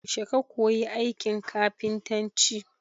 Yaushe ka koyi aikin kafintaci?